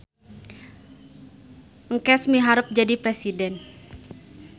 Engkes miharep jadi presiden